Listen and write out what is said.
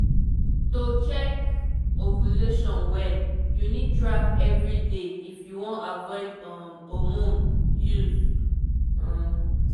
to check ovulation well you need track everyday if you wan avoid um hormone use um